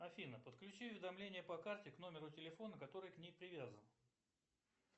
афина подключи уведомления по карте по номеру телефона который к ней привязан